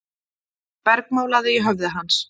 bergmálaði í höfði hans.